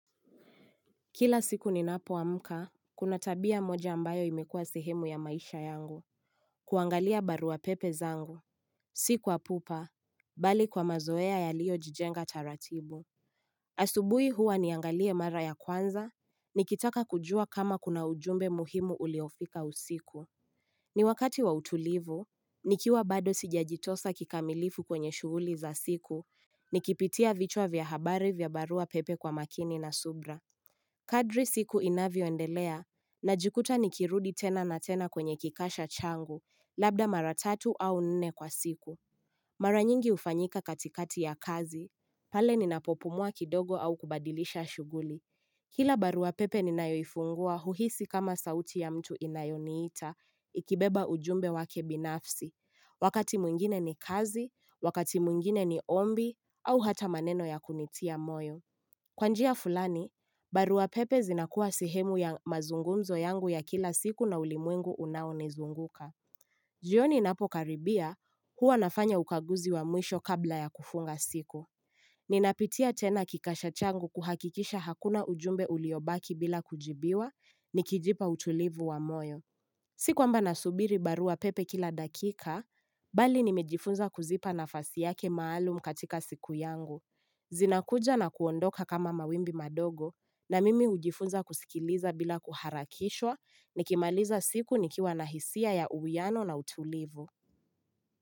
Kila siku ni napo wa muka, kuna tabia moja ambayo imekua sehemu ya maisha yangu, kuangalia barua pepe zangu, siku wa pupa, bali kwa mazoea ya lio jijenga taratibu. Asubui huwa niangalia mara ya kwanza, nikitaka kujua kama kuna ujumbe muhimu uliofika usiku. Ni wakati wa utulivu, nikiwa bado sijajitosa kikamilifu kwenye shuguli za siku, nikipitia vichwa vya habari vya barua pepe kwa makini na subra. Kadri siku inavyo ndelea, na jikuta nikirudi tena na tena kwenye kikasha changu, labda maratatu au nene kwa siku. Maranyingi ufanyika katikati ya kazi. Pale ninapopumua kidogo au kubadilisha shuguli. Kila baru wapepe ninayoifungua uhisi kama sauti ya mtu inayoniita, ikibeba ujumbe wake binafsi. Wakati mungine ni kazi, wakati mungine ni ombi, au hata maneno ya kunitia moyo. Kwa njia fulani, barua pepe zinakuwa sehemu ya mazungunzo yangu ya kila siku na ulimwengu unaonezunguka. Jioni napo karibia, huwa nafanya ukaguzi wa mwisho kabla ya kufunga siku. Ninapitia tena kikasha changu kuhakikisha hakuna ujumbe uliobaki bila kujibiwa ni kijipa utulivu wa moyo. Sikwamba nasubiri barua pepe kila dakika, bali nimejifunza kuzipa nafasi yake maalum katika siku yangu. Zina kuja na kuondoka kama mawimbi madogo na mimi ujifunza kusikiliza bila kuharakishwa ni kimaliza siku nikiwa na hisia ya uwiano na utulivu.